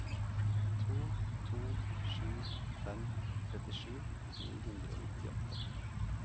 to to sju fem trettisju ni hundre og nittiåtte